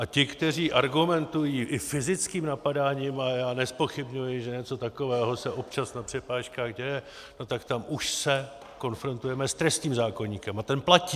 A ti, kteří argumentují i fyzickým napadáním, a já nezpochybňuji, že něco takového se občas na přepážkách děje, no tak tam už se konfrontujeme s trestním zákoníkem a ten platí.